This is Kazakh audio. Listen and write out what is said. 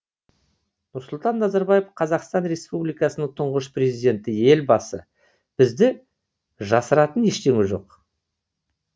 нұрсұлтан назарбаев қазақстан республикасының тұңғыш президенті елбасы бізді жасыратын ештеңе жоқ